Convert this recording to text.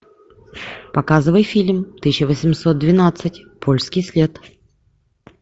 показывай фильм тысяча восемьсот двенадцать польский след